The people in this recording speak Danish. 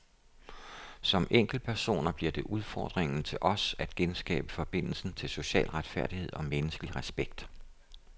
Som enkeltpersoner bliver det udfordringen til os at genskabe forbindelsen til social retfærdighed og menneskelig respekt.